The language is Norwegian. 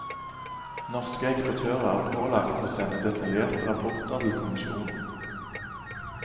Norske eksportører er pålagt å sende detaljerte rapporter til kommisjonen.